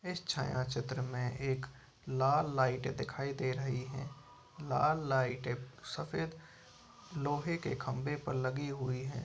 इस छायाचित्र में एक लाल लाइट दिखाई दे रही हैं। लाल लाइट एक सफेद लोहे के खंबे पर लगी हुई हैं।